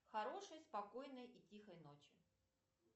хорошей спокойной и тихой ночи